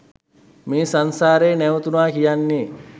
මේ සංසාරය නැවතුනා කියන්නේ